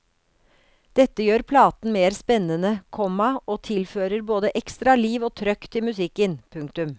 Dette gjør platen mer spennende, komma og tilfører både ekstra liv og trøkk til musikken. punktum